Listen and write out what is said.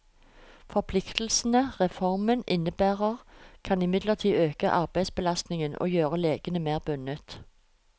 Forpliktelsene reformen innebærer, kan imidlertid øke arbeidsbelastningen og gjøre legene mer bundet.